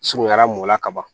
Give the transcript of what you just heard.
Surunyara mɔla ka ban